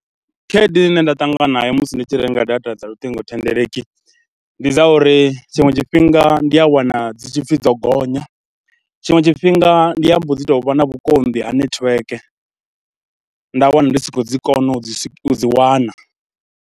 Khaedu ine nda ṱangana nayo musi ndi tshi renga data dza luṱingothendeleki, ndi dza uri tshiṅwe tshifhinga ndi a wana dzi tshi pfhi dzo gonya, tshiṅwe tshifhinga ndi a mbo dzi tou vha na vhukonḓi ha netiweke, nda wana ndi sokou dzi kona u dzi u dzi wana.